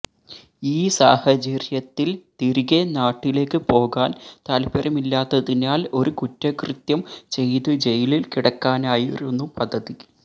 ഈ സാഹചര്യത്തില് തിരികെ നാട്ടിലേക്ക് പോകാന് താല്പര്യമില്ലാത്തതിനാല് ഒരു കുറ്റകൃത്യം ചെയ്ത് ജയിലില് കിടക്കാനായിരുന്നു പദ്ധതി